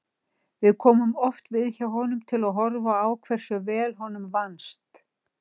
Við komum oft við hjá honum til að horfa á hversu vel honum vannst.